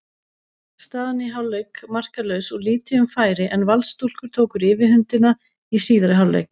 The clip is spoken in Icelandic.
Staðan í hálfleik markalaus og lítið um færi en Valsstúlkur tóku yfirhöndina í síðari hálfleik.